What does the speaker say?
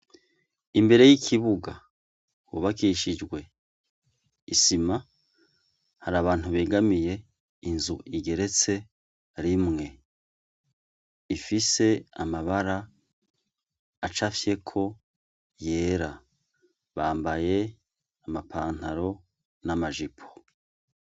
Imbere y'ikibuga hubakishijwe isima har'abantu begamiye inzu igeretse rimwe ifise amabara acapfyeko yera. Bambaye amapantaro n'amajipo.